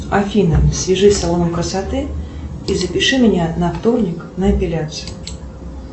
афина свяжись с салоном красоты и запиши меня на вторник на эпиляцию